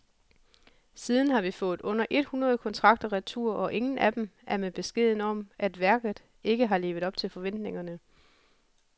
Siden har vi fået under et hundrede kontrakter retur, og ingen af dem er med beskeden om, at værket ikke har levet op til forventningerne.